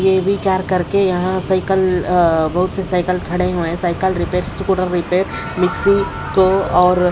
AV tyre करके यहां cycle अ बहोत से साइकल खड़े हुए हैं साइकल रिपेयर्स मिक्सी स्टोव और--